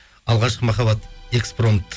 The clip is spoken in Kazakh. алғашқы махаббат экспромт